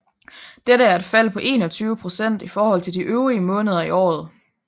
Dette er et fald på 21 procent i forhold til de øvrige måneder i året